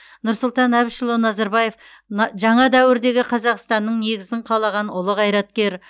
нұрсұлтан әбішұлы назарбаев н жаңа дәуірдегі қазақстанның негізін қалаған ұлы қайраткер